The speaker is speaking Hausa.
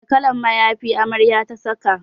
Wane kalan mayafi amaryar ta saka?